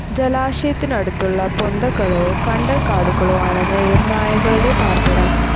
ജലാശയത്തിനടുത്തുള്ള പൊന്തകളോ കണ്ടൽക്കാടുകളോ ആണ്‌ നീർനായകളുടെ പാർപ്പിടം.